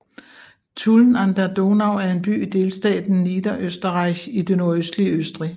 Tulln an der Donau er en by i delstaten Niederösterreich i det nordøstlige Østrig